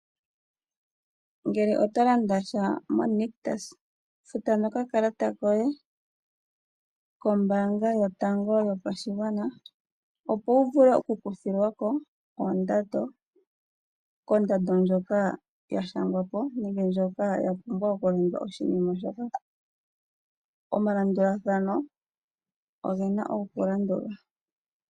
Ngele oto landasha mo Nictus futa nokakalata koye kombaanga yotango yopashigwana yaNamibia opo wuvule oku kuthilwako oondando, kondando ndjoka ya shangwapo nenge ndjoka yapumbwa okulanda oshinima shoka . Oomalandulathano ogena oku landulwa.